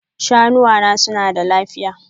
Shanuwa na suna da lafiya?